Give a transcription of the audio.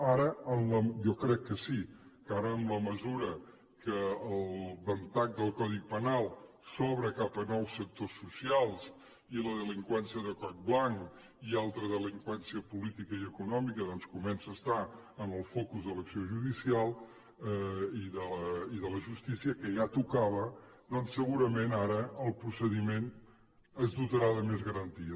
ara jo crec que sí que ara en la mesura que el ventall del codi penal s’obre cap a nous sectors socials i la delinqüència de coll blanc i altra delinqüència política i econòmica doncs comença a estar en el focus de l’acció judicial i de la justícia que ja tocava doncs segurament ara el procediment es dotarà de més garanties